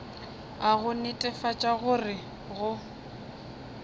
a go netefatša gore go